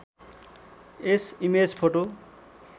yes image photo